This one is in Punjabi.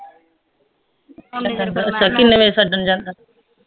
ਕਿੰਨੇ ਵਜੇ ਛੱਡਣ ਜਾਂਦਾ